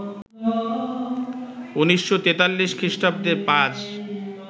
১৯৪৩ খ্রিস্টাব্দে পাজ